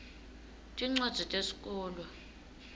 tincwadzi tesikolwa